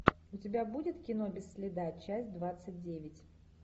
у тебя будет кино без следа часть двадцать девять